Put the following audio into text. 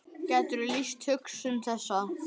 Gætirðu lýst hugsun þessa?